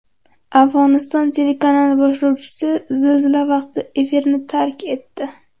Afg‘oniston telekanali boshlovchisi zilzila vaqtida efirni tark etdi .